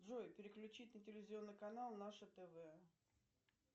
джой переключить на телевизионный канал наше тв